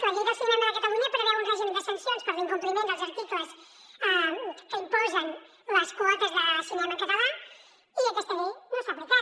la llei del cinema de catalunya preveu un règim de sancions per l’incompliment dels articles que imposen les quotes de cinema en català i aquesta llei no s’ha aplicat